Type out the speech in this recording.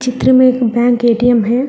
चित्र में एक बैंक ए_टी_एम है।